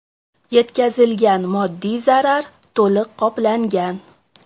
Yetkazilgan moddiy zarar to‘liq qoplangan.